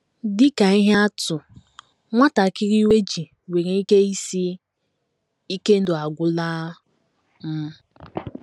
Dị ka ihe atụ, nwatakịrị iwe ji nwere ike ịsị, “ Ike ndụ agwụla m. ”